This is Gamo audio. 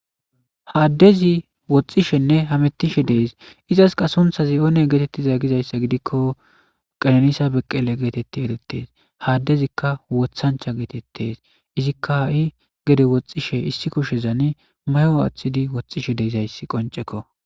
haaddezi woxxishenne hamettishe dees izaska sunthazi oone geetettiza gizayssa gidikko qalenisa beqqele geetetti eretees haaddezikka wothancha geetettes izikkai gede woxxishe issikko shezani mayo aththidi woxxishe deizayssi qoncekko